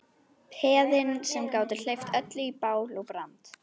Peðin sem gátu hleypt öllu í bál og brand.